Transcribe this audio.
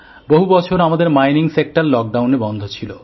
বহু বছর আমাদের খনিশিল্প লকডাউনে বন্ধ ছিল